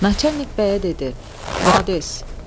Naçalik bəyə dedi: "Malades!"